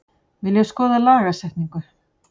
Vilja skoða lagasetningu